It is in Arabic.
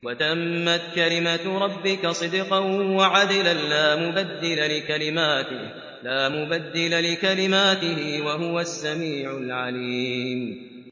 وَتَمَّتْ كَلِمَتُ رَبِّكَ صِدْقًا وَعَدْلًا ۚ لَّا مُبَدِّلَ لِكَلِمَاتِهِ ۚ وَهُوَ السَّمِيعُ الْعَلِيمُ